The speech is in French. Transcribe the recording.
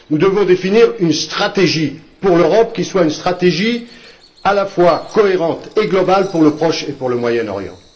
Nous devons définir une stratégie pour l'Europe qui soit une stratégie à la fois cohérente et globale pour le Proche et pour le Moyen Orient.